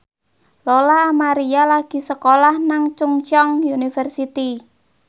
Lola Amaria lagi sekolah nang Chungceong University